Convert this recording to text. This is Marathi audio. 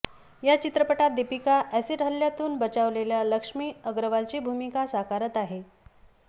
या चित्रपटात दीपिका अॅसिड हल्ल्यातून बचावलेल्या लक्ष्मी अग्रवालची भूमिका साकारत आहे